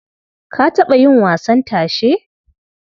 Ka taɓa yin wasan tashe?